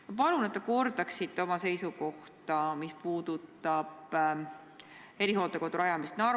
Ma palun, et te kordaksite oma seisukohta Narva rajatava erihooldekodu rajamise kohta.